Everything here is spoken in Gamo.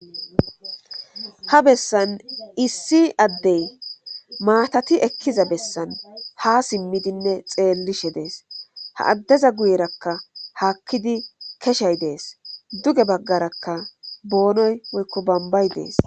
ha bessan issi addey maatati ekkiza bessan ha simmidinne xeellishe dees ha addeza guyerakka haakkidi keshey dees duge baggarakka boonoy woykko bambay dees